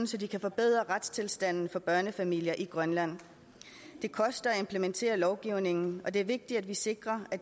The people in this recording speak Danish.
så de kan forbedre retstilstanden for børnefamilier i grønland det koster at implementere lovgivningen og det er vigtigt at vi sikrer at